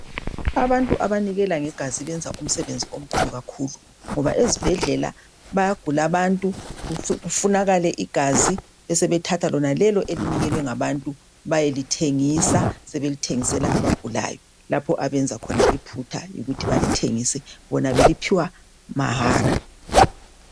Abantu abanikela ngegazi benza umsebenzi omkhulu kakhulu ngoba ezibhedlela bayagula abantu kufunakale igazi besebethatha lonalelo elinikelwa ngabantu bayelithengisa ,sebelithengisela abagulayo lapho abenza khona iphutha ukuthi balithengise bona beliphiwa mahara.